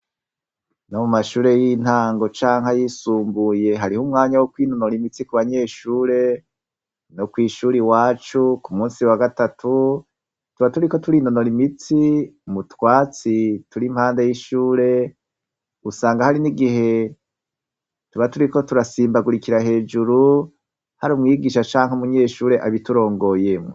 No mu mashure y'intango canke ayisumbuye hariho umwanya wo kwinonora imitsi ku banyeshure no kw'ishuri iwacu ku musi wa gatatu tuba turiko turi nonora imitsi mutwatsi turi impanda y'ishure usanga hari nigihe tuba turiko turasimbagurikira hejuru hari umwigisha canke umunyeshure abiturongoyemwo.